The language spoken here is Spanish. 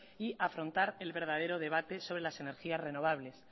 y afrontar el verdadero debate sobre las energías renovables